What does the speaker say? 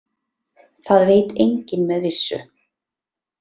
Það veit enginn með vissu.